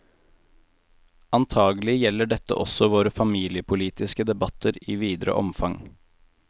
Antagelig gjelder dette også våre familiepolitiske debatter i videre omfang.